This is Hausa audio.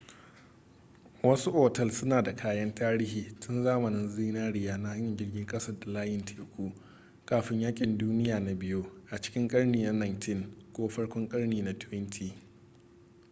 wasu otal suna da kayan tarihi tun zamanin zinariya na hanyar jirgin kasa da layin teku kafin yakin duniya na biyu a cikin karni na 19 ko farkon karni na 20